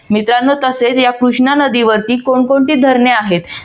मित्रांनो तसेच या कृष्णा नदीवरती कोण कोणते धरणे आहेत?